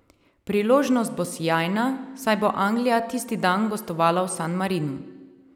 Priložnost bo sijajna, saj bo Anglija tisti dan gostovala v San Marinu.